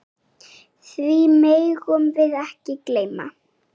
Því megum við ekki gleyma.